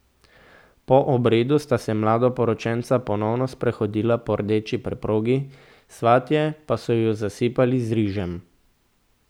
Po obredu sta se mladoporočenca ponovno sprehodila po rdeči preprogi, svatje pa so ju zasipali z rižem.